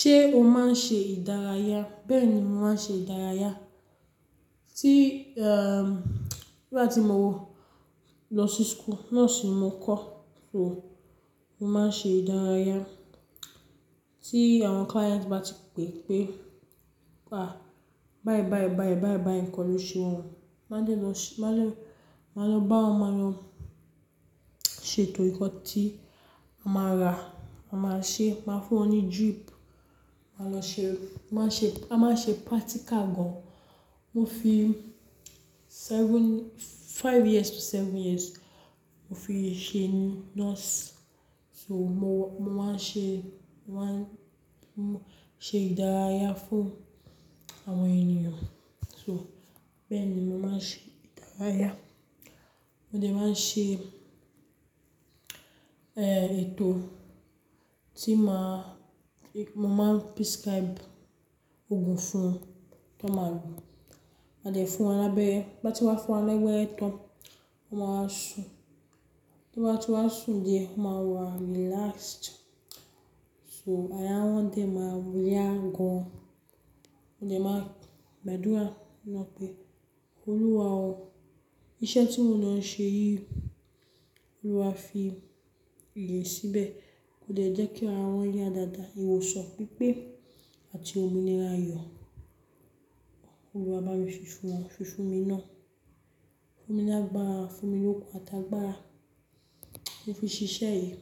Ṣé o máa ń ṣe ìdárayá? Bẹ́ẹ̀ni, mo máa ń ṣe ìdárayá. Ní gbá ti mo lọ sí school, nurse mo kọ́, so mo máa ń ṣe ìdárayá. Tí àwọn client bá ti pè pé, "à, báì báì báì báì báì kọ́ ló ṣe wọ́n," ma de ma máa lọ bá wọn, máa lọ ṣe ètò ìkọ́ti, máa ra, a máa ṣe, máa fún wọn ní drip, a máa lọ ṣe, a máa ṣe practical gan. Mo fi seven-- five years to seven years mo fi ṣe nurse. So mo máa ń ṣe, mo máa ń ṣe ìdárayá fún àwọn ènìyàn. So bẹ́ẹ̀ ni mo máa ń ṣe ìdárayá. Mo dẹ̀ máa ń ṣe, ẹ́, ètò tí máa-- mo máa ń prescribe ògùn fún tọ́ ma lò. A dẹ̀ fún wọn lábẹ́re, bá ti wá fún wọn lẹ́bere tan, wọ́n máa a ṣún. Tí n bá ti wá ṣún díẹ̀, mo máa wà maa relaxed. So ara wọn dẹ̀ máa wù yá gan. Mo dẹ̀ máa ń gbàdúrà náà pé, "Olúwa o, iṣẹ́ tí mo lo ń ṣe yìí, Olúwa fi ìyè síbẹ̀ kó dẹ̀ jẹ́ kí ara wọn yá dáadáa. Ìwọsan pipé àti ominira ayọ̀. Olúwa bá mi ṣíṣe wọ́n, ṣíṣe mi náà. Fún mi ni ágbára, fún mi okun àtàgbàra mo fi ṣiṣẹ́ yìí."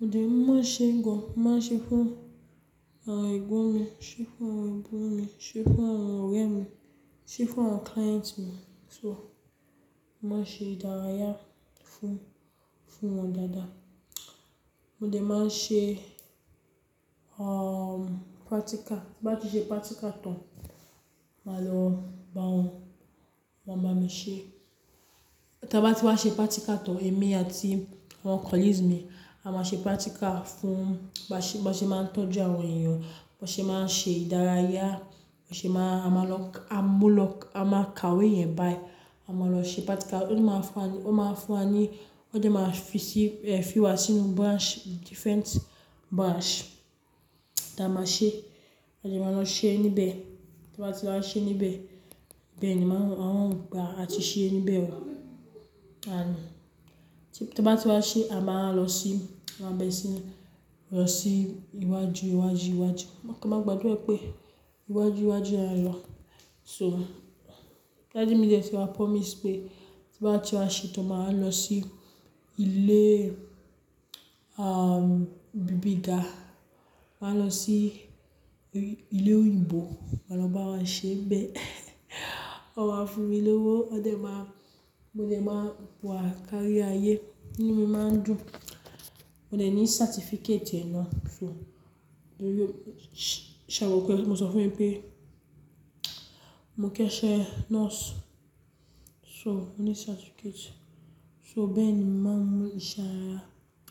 Mo dẹ̀ máa ń ṣe gan, màá ṣe fún àwọn ẹ̀gbọ́n mi, ṣe fún àwọn abúro mi, ṣe fún àwọn ọ̀rẹ́ mi, ṣe fún àwọn client mi. So mo máa ń ṣe ìdárayá fún, fún wọn dáadáa. Mo dẹ̀ máa ń ṣe, àwọn practical. Bá ti ṣe practical tán, màá lọ bá wọn, wọ́n máa bá mi ṣe. Tọ́n bá ti wá ṣe practical tán, èmi àti àwọn colleagues mi, a máa ṣe practical fún, ba ṣe ba se máa ń tọ́jú àwọn ènìyàn, ba ṣe máa ń ṣe ìdárayá, ba ṣe máa-- a máa lọ, a mú lọ, a máa kàwé iyẹn báyìí. A máa lọ ṣe practical. Ó máa fún wa ní, ó máa fún wa ní, ó dẹ̀ máa fi sí, ẹ́, fi wa sínú branch, different branch ta máa ṣe. A dẹ̀ máa lọ ṣe níbẹ̀. Tí wọ́n bá ti wá ṣe níbẹ̀, bẹ́ẹ̀ ni wọ́n, àwọn ń gba àti ṣe níbẹ̀ ò. Tí n bá ti wá ṣe, a máa a lo sí, a máa lo sí, lọ sí iwájú, iwájú, iwájú. A kan máa gbàdúrà pé iwájú, iwájú la nlo So Daddy mi detun wa promise pé tí wọ́n bá ti wá ṣe tán, màá lọ sí ilé, àwọn íbibi dà. Màá lọ sí ilé òyìnbó, màá lọ bá wọn ṣe bẹ́ẹ̀. Wọn máa fún mi ní owó, ó dẹ̀ máa, mo dẹ̀ máa wà kárí ayé inu mi máa ń dùn. Mo dẹ̀ ní certificate rẹ̀ náà. So mo sọ fún ẹ pé mò ń kẹ́ṣẹ̀ nurse. So mo ní certificate. So bẹ́ẹ̀ ni mo máa ń mo ṣe ìdárayá.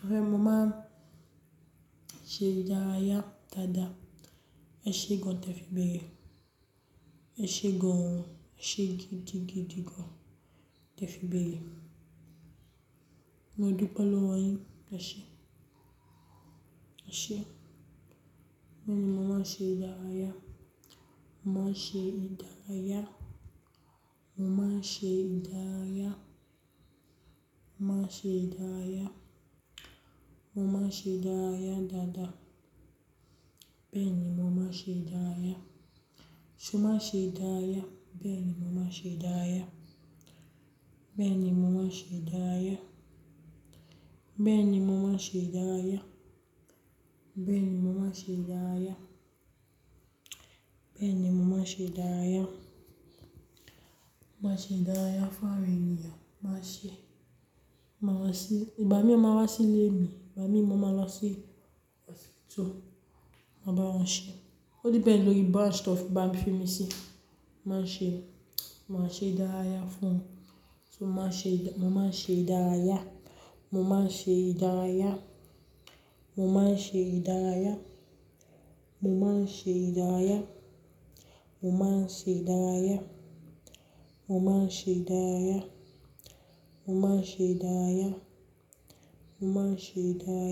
Rárá, mo máa ń ṣe ìdárayá dáadáa. Ẹ ṣe gan tẹ́ fi bẹ́ẹ̀rẹ. Ẹ ṣe gan, ẹ ṣe gidigidigidigan tẹ́ fi bẹ́ẹ̀ yẹ. Mo dùpẹ̀ lowo yín, ẹ ṣe. Ẹ ṣe. Bẹ́ẹ̀ ni mo máa ń ṣe ìdárayá. Mo máa ń ṣe ìdárayá. Mo máa ń ṣe ìdárayá. Mo máa ń ṣe ìdárayá. Mo máa ń ṣe ìdárayá dáadáa. Bẹ́ẹ̀ ni mo máa ń ṣe ìdárayá. Ṣé mo máa ṣe ìdárayá? Bẹ́ẹ̀ ni mo máa ṣe ìdárayá. Bẹ́ẹ̀ ni mo máa ṣe ìdárayá. Bẹ́ẹ̀ ni mo máa ṣe ìdárayá. Bẹ́ẹ̀ ni mo máa ṣe ìdárayá. Mo máa ṣe ìdárayá fún àwọn ènìyàn. Mo máa ṣe, mo maa se, ìgbà miin o maa wá sílé mi. Ìgbà mìín ma máa lọ sí hospital, ma máa bá wọn ṣe. Ó depẹ̀nd lórí branch tó n fimi fún mi sí, mo máa ń ṣe, máa ṣe ìdárayá fún wọn. So máa ṣe, mo máa ṣe ìdárayá. Mo máa ṣe ìdárayá. Mo máa ṣe ìdárayá. Mo máa ṣe ìdárayá. Mo máa ṣe ìdárayá. Mo máa ṣe ìdárayá. Mo máa ṣe ìdárayá. Mo máa ṣe ìdárayá.